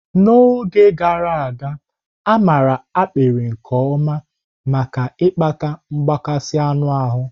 N'oge gara aga, a maara ákpịrị nke ọma maka ịkpata mgbakasị anụ ahụ.